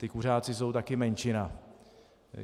Ti kuřáci jsou taky menšina.